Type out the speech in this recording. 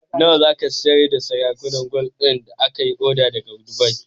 Nawa zaka siyar da sarakunan gwal din da kayi order daka dubai?